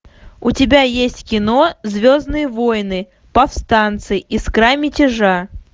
у тебя есть кино звездные войны повстанцы искра мятежа